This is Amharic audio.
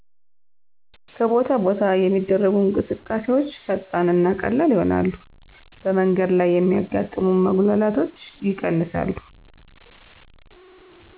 ከቦታ ቦታ የሚደረጉ እንቅስቃሴዎች ፈጣን እና ቀላል ይሆናሉ በመንገድ ላይ የሚያጋጥሙ መጉላላቶች ይቀንሳሉ።